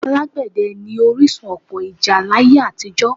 Alágbẹ̀dẹ́ ni orísun ọ̀pọ̀ ìjà láyé àtijọ́